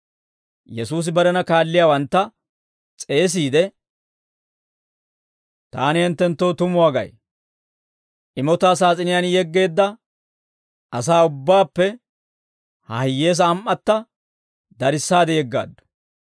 Yesuusi barena kaalliyaawantta s'eesiide, «Taani hinttenttoo tumuwaa gay; imotaa saas'iniyaan yeggeedda asaa ubbaappe ha hiyyeesaa am"atta darissaade yeggaaddu.